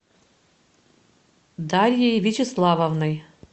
дарьей вячеславовной